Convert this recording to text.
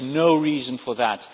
There is no reason for that.